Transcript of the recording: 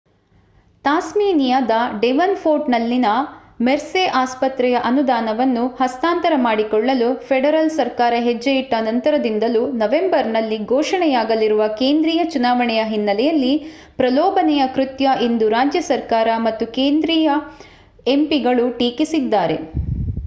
ತಾಸ್ಮೇನಿಯಾದ ಡೆವನ್‌ಪೋರ್ಟ್‌ನಲ್ಲಿನ ಮೆರ್ಸೆ ಆಸ್ಪತ್ರೆಯ ಅನುದಾನವನ್ನು ಹಸ್ತಾಂತರ ಮಾಡಿಕೊಳ್ಳಲು ಫೆಡರಲ್ ಸರ್ಕಾರ ಹೆಜ್ಜೆಯಿಟ್ಟ ನಂತರದಿಂದಲೂ ನವೆಂಬರ್‌ನಲ್ಲಿ ಘೋಷಣೆಯಾಗಲಿರುವ ಕೇಂದ್ರೀಯ ಚುನವಾಣೆಯ ಹಿನ್ನೆಲೆಯಲ್ಲಿ ಪ್ರಲೋಭನೆಯ ಕೃತ್ಯ ಎಂದು ರಾಜ್ಯ ಸರ್ಕಾರ ಮತ್ತು ಕೆಲವು ಕೇಂದ್ರೀಯ ಎಂಪಿಗಳು ಟೀಕಿಸಿದ್ದಾರೆ